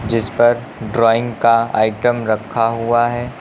जिस पर ड्राइंग का आइटम रखा हुआ है।